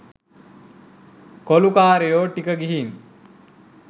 කොලුකාරයො ටික ගිහින්